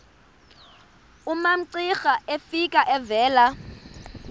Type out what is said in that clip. umamcira efika evela